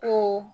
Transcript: To